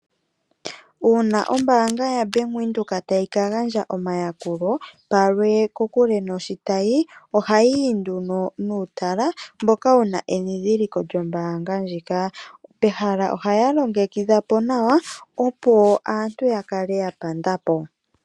Uuna ombaanga yaWindhoek tayi kagandja omayakulo palwe, kokule noshitayi ohayi yi nduno nuutala mboka wuna edhidhiliko lyombaanga ndjoka. Pehala ohaya longekidha po nawa opo aantu yakale yapanda po.